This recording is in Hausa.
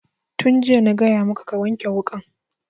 Tun jiya na gaya maka ka wanke wukan